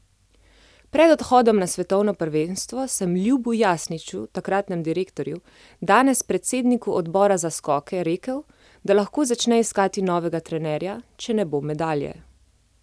Pred odhodom na svetovno prvenstvo sem Ljubu Jasniču, takratnemu direktorju, danes predsedniku odbora za skoke, rekel, da lahko začne iskati novega trenerja, če ne bo medalje.